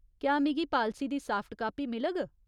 क्या मिगी पालसी दी साफ्ट कापी मिलग ?